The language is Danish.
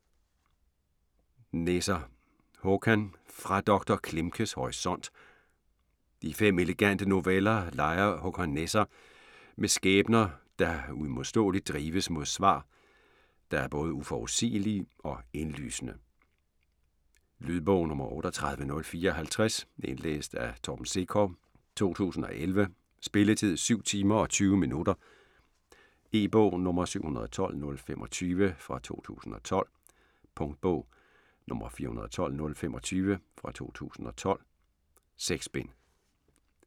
Nesser, Håkan: Fra doktor Klimkes horisont I fem elegante noveller leger Håkon Nesser med skæbner, der uimodståeligt drives mod svar, der er både uforudsigelige og indlysende. Lydbog 38054 Indlæst af Torben Sekov, 2011. Spilletid: 7 timer, 20 minutter. E-bog 712025 2012. Punktbog 412025 2012. 6 bind.